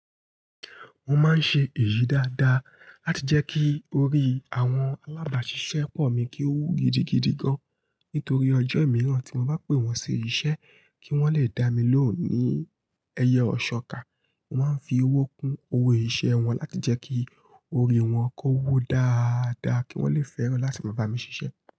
Mo máa ń ṣe èyí dáadáa láti jẹ́ kí orí àwọn alábàáṣiṣẹ́ pọ̀ mi kí ó wó gidigidi gan. Nítorí ọjọ́ ìmíràn tí mo bá pè wọ́n sí iṣẹ́ kí wọ́n le dá mi lóhùn ní ẹyẹ òṣóká, wọ́n ń fi owó kún owó iṣẹ́ wọn láti jẹ́ kí orí wọn kó wó dáadáa kí wọ́n le fẹ́ràn láti máa bá mi ṣiṣẹ́